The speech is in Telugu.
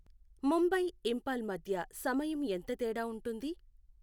ముంబై, ఇంఫాల్ మధ్య సమయం ఎంత తేడా ఉంటుంది